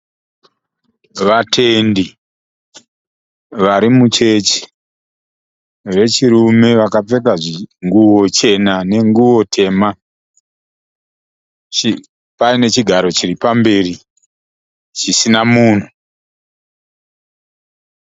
Vatendi vari muchechi, vechirume, vakapfeka nguwo chena nenguwo tema. Pane chigaro chiri pamberi chisina munhu.